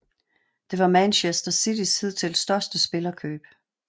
Det var Manchester Citys hidtil største spillerkøb